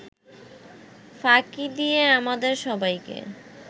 ফাঁকি দিয়ে আমাদের সবাইকে